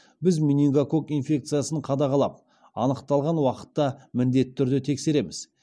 біз менингококк инфекциясын қадағалап анықталған уақытта міндетті түрде тексереміз